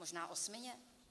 Možná osmině?